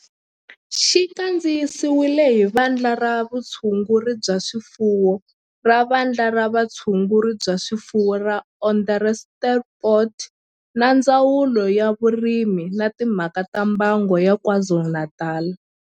Xi kandziyisiwe hi Vandla ra Vutshunguri bya swifuwo ra Vandla ra Vutshunguri bya swifuwo ra Onderstepoort na Ndzawulo ya Vurimi na Timhaka ta Mbango ya KwaZulu-Natal